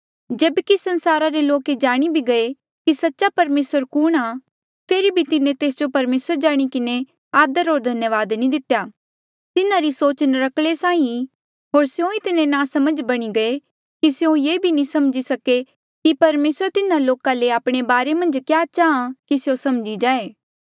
जेब्की संसारा रे लोक ये जाणी भी गये कि सच्चा परमेसर कुणहां फेरी भी तिन्हें तेस जो परमेसर जाणी किन्हें आदर होर धन्यावाद नी कितेया तिन्हारी सोच नर्क्कले साहीं थी होर स्यों इतने नासमझ बणी गये कि स्यों ये नी समझी सके कि परमेसर तिन्हा लोका ले आपणे बारे मन्झ क्या चाहाँ कि स्यों समझी जाये